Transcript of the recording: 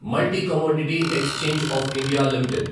multi commodity exchange of India limited